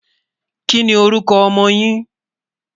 kí ní orúkọ ọmọ yín?